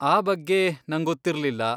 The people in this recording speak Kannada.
ಆ ಬಗ್ಗೆ ನಂಗೊತ್ತಿರ್ಲಿಲ್ಲ.